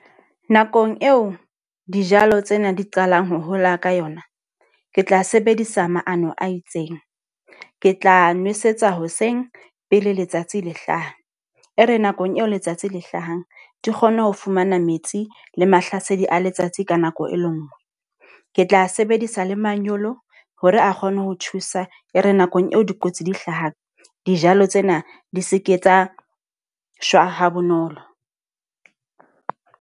Nakong eo dijalo tsena di qalang ho hola ka yona. Ke tla sebedisa maano a itseng, ke tla nwesetsa hoseng pele letsatsi le hlaha. E re nakong eo letsatsi le hlahang, di kgone ho fumana metsi le mahlasedi a letsatsi ka nako e le nngwe. Ke tla sebedisa le manyolo hore a kgone ho thusa. E re nakong eo dikotsi di hlahang dijalo tsena di seke tsa shwa ha bonolo.